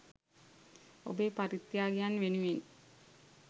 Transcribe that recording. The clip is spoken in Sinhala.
ඔබේ පරිත්‍යාගයන් වෙනුවෙන්